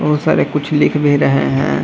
बहुत सारे कुछ लिख भी रहे हैं।